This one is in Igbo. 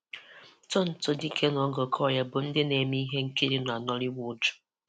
Tonto Dike na Oge Okoye bụ ndị na-eme ihe nkiri na Nollywood